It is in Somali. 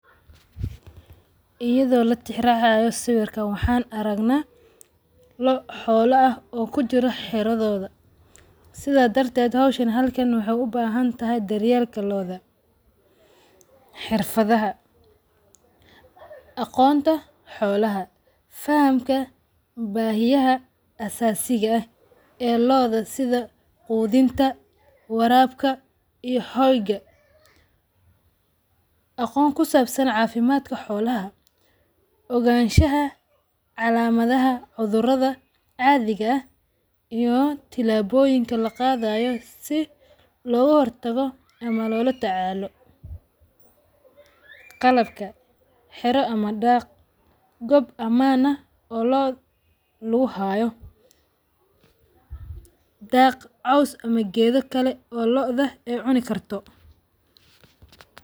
Iyadho latixi raacayo sawirkan waxa aragna loo xoolo aah oo kujiro xiradhoda. Sidha darteet hawshan halkan waxay u bahantahay daryeelka lo`oda, xirfadhaha, agoonta xoolaha, fahamka bahiyaha asaasiga aah ee lo`da sidha goodhinta, waarabka iyo holga, agoon ku saabsaan cafimadka xoolaha, oganshaha calamadhatka curadhadha caadiga aah iyoo tilaboyinka lagadhayo sii logo hortago ama loo latacaalo qalabka xiira ama daaq goob ama lo`oo lagu haayo daag, coos ama geedho kale oo lo`o dha ay cuni karto.